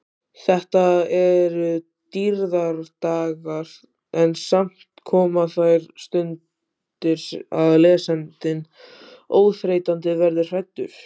Þetta eru dýrðardagar en samt koma þær stundir að lesandinn óþreytandi verður hræddur.